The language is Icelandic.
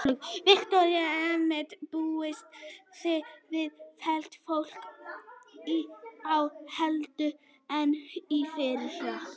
Viktoría: Einmitt, búist þið við fleira fólki í ár heldur en í fyrra?